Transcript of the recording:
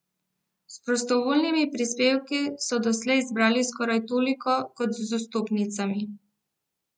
S prostovoljnimi prispevki so doslej zbrali skoraj toliko kot z vstopnicami.